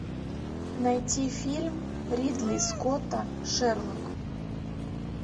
найти фильм ридли скотта шерлок